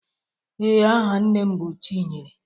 Ee, aha nne m bụ chinyere